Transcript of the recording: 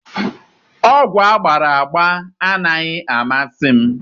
Ogwu agbara agba anaghị amasị m